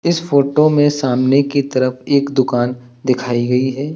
इस फोटो में सामने की तरफ एक दुकान दिखाई गई है।